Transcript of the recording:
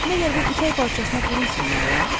Məgər bu ipək parçasına burun silmək olar?